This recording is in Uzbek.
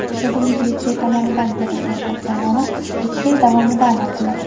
Akademik litsey tomonidan berilgan tavsiyanoma ikki yil davomida amal qiladi.